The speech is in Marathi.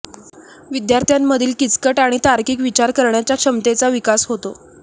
विद्यार्थ्यांमधील किचकट आणि तार्किक विचार करण्याच्या क्षमतेचा विकास होतो